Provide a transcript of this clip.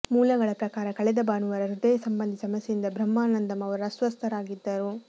ಮೂಲಗಳ ಪ್ರಕಾರ ಕಳೆದ ಭಾನುವಾರ ಹೃದಯ ಸಂಬಂಧಿ ಸಮಸ್ಯೆಯಿಂದ ಬ್ರಹ್ಮಾನಂದಂ ಅವರು ಅಸ್ವಸ್ಥರಾಗಿದ್ದರು